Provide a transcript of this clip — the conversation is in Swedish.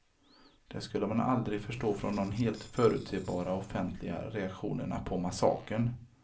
Det skulle man aldrig förstå från de helt förutsebara offentliga reaktionerna på massakern.